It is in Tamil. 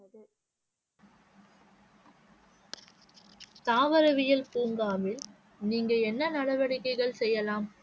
தாவரவியல் பூங்காவில் நீங்கள் என்ன நடவடிக்கைகள் செய்யலாம்?